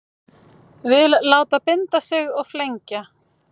Vill láta binda sig og flengja